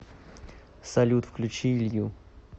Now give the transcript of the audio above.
салют включи илью